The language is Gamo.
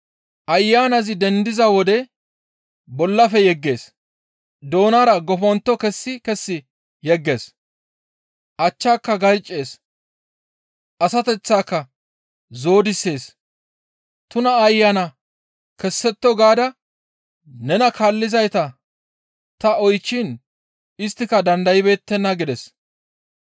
Ayanazi dendiza wode bollafe yeggees; doonara goppontto kessi kessi yeggees; achchaaka garccees; asateththaaka zoodisees; tuna ayana kessetto gaada nena kaallizayta ta yootiin isttika dandaybeettenna» gides.